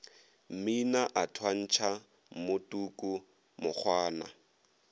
mmina a thwantšha mmotuka mokgwana